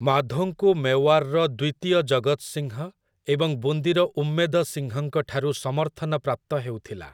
ମାଧୋଙ୍କୁ ମେୱାରର ଦ୍ୱିତୀୟ ଜଗତ ସିଂହ ଏବଂ ବୁନ୍ଦୀର ଉମ୍ମେଦ ସିଂହଙ୍କଠାରୁ ସମର୍ଥନ ପ୍ରାପ୍ତ ହେଉଥିଲା ।